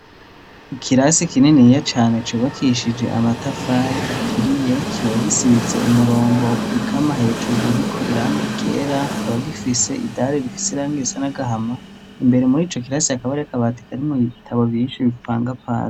Ikirasi kininiya cane cubakishije amatafari aturiye caba gisiritse umurongo kikaba hejuru hariko irangi ryera kikaba gifise idare rifise irangi risa n'agahama imbere muri ico kirasi hakaba hariyo akabati karimwo ibitabo vyinshi bipangapanze.